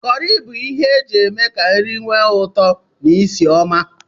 Kọri bụ ihe eji eme ka nri nwe ụtọ n'isi ọma.